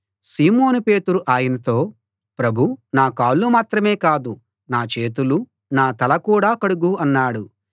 సీమోను పేతురు ఆయనతో ప్రభూ నా కాళ్ళు మాత్రమే కాదు నా చేతులు నా తల కూడా కడుగు అన్నాడు